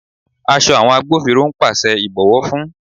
Aṣọ àwọn agbófinró ń pàṣẹ ìbọ̀wọ́ fún.